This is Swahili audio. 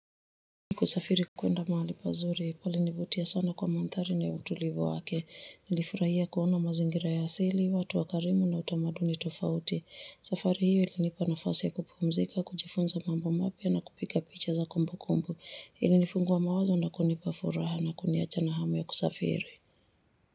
Niliposafiri kwenda mahali pazuri, palinivutia sana kwa mandhari na utulivu wake, nilifurahia kuona mazingira ya asili, watu wakarimu na utamaduni tofauti. Safari hiyo ilinipa nafasi ya kupumzika, kujifunza mambo mapya na kupiga picha za kumbukumbu. Ilinifungua mawazo na kunipa furaha na kuniachana hamu ya kusafiri.